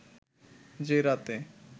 যে রাতে